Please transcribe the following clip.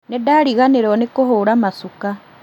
Nĩndariganĩrwo nĩ kũhũra macuka